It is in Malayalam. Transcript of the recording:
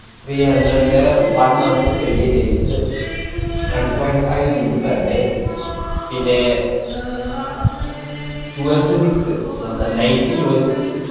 three hundred ന്‍റെ one month twenty eight days one point 5 GB per day പിന്നെ twelve to six അ് ന~ ന~ night twelve to six